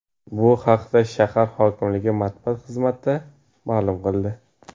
Bu haqda shahar hokimligi matbuot xizmati maʼlum qildi .